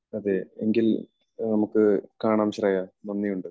അതേ. എങ്കിൽ നമുക്ക് കാണാം ശ്രേയ, നന്ദിയുണ്ട്.